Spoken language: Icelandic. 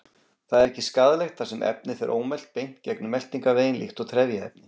Það er ekki skaðlegt þar sem efnið fer ómelt beint gegnum meltingarveginn líkt og trefjaefni.